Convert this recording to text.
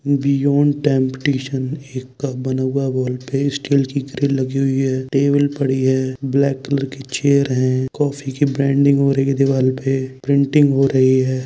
Table पड़ी हे black colour की चेयर हैकॉफ़ी की ब्रांडिंग हो रही है दीवाल पे प्रिंटिंग हो रही है।